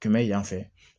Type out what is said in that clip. Kɛmɛ yan fɛ